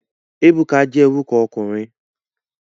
Ebuka je oruko okunrin